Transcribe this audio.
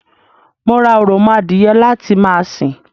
Mo ra òròmọ adìye láti ma sìn